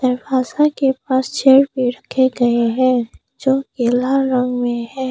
दरवाज़ा के पास चेयर भी रखे गए है जो ये पिला रंग में है।